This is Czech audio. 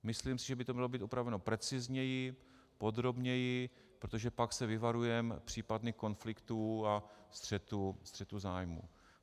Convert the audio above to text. Myslím si, že by to mělo být upraveno precizněji, podrobněji, protože pak se vyvarujeme případných konfliktů a střetů zájmů.